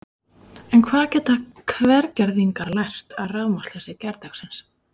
En hvað geta Hvergerðingar lært af rafmagnsleysi gærdagsins?